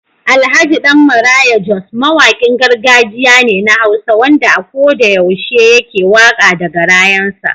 Alhj. Dan maraya jos mawakin gargajiya ne na hausa wanda a koda yaushe yake waka da garayan sa.